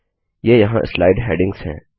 ये यहाँ slide headings हैं